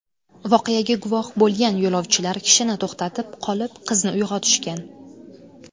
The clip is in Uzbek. Voqeaga guvoh bo‘lgan yo‘lovchilar kishini to‘xtatib qolib, qizni uyg‘otishgan.